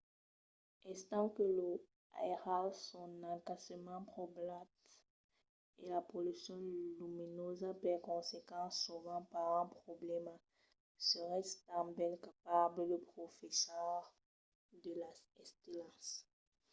estant que los airals son escassament poblats e la pollucion luminosa per consequent sovent pas un problèma seretz tanben capables de profechar de las estelas